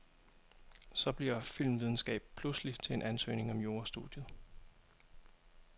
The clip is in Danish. Så bliver filmvidenskab pludselig til en ansøgning om jurastudiet.